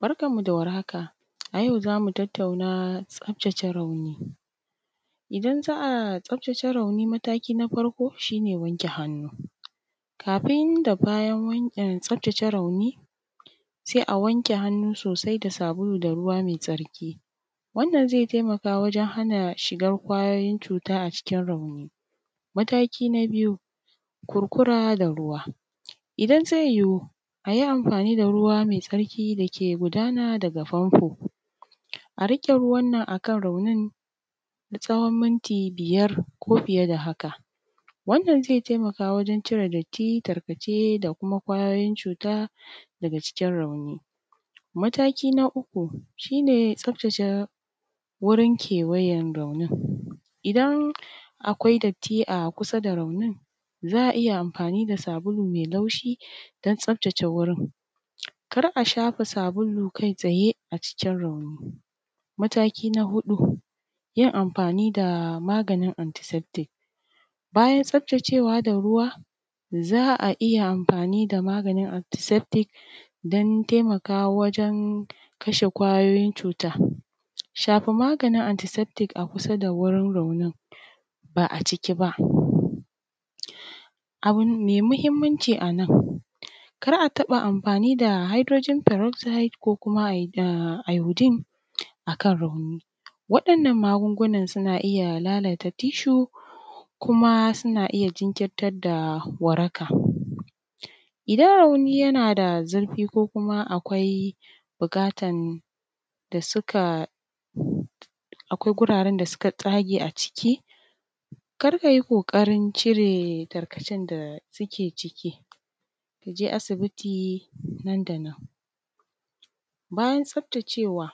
Barkanmu da war haka, a yau za mu tattauna tsaftace rauni. Idan za a tsaftace rauni mataki na farko shi ne wanke hannu, kafin da bayan wan tsaftace rauni, sai a wanke hannu sosai da sabulu sa ruwa mai tsarki. Wnnan zai hana shigar ƙwayoyin cuta a cikin rauni. Mataki na biyu, kurkura da ruwa. idan zai yiwu a yi amfani da ruwa mai tsarki dake gudana daga fanfo. A riƙe ruwannan a kan raunin na tsawon miti biyar ko fiye da haka. Wannan zai taimaka wurin cire datti, tarkace da kuma ƙwayoyin cuta daga jikin rauni. Mataki na uku shi ne tsaftace wurin kewayan raunin. Idan akwai datti a kusa da raunin za a iya amfani da sabulu mai laushi dan tsaftate wurin. Kar a sha sabulu kai tsaye a cikin raunin,. Mataki na huɗu, yin amfani da maganin anty safety. Bayan tsaftacewa da ruwa za a iya amfani da maganin anty safetif don taimakawa awjen kasha ƙwayoyin cuta. Shafa maganin anty safetif a kusa da raunin ba a ciki ba. Abu ai mahimmanci a nan, kar a taɓa yin amfani da hydrogen pereoxide ko kuma iroden a kan rauni. Waɗannan magungunan su iya ɓata tissue, kuma iya jinkirtar da waraka. Iadan rauni yana da zurfi ko kuma akwai buƙatan da suka, akwai wuraren da suka tsage a ciki, kar ka yi ƙoƙarin cire tarkacen da suke ciki, ka je asibiti dandanan. Bayan tsaftacewa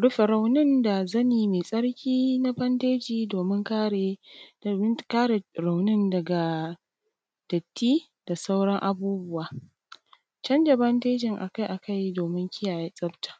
rufe raunin da zane mai tsarki na bandeji domin kare domin kare raunin daga datti da sauran abubuwa, janza bangejin a kai akai, domin kiyaye tsafta.